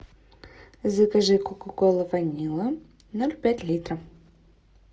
закажи кока колу ванилла ноль пять литра